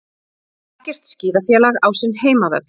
Ekkert skíðafélag á sinn heimavöll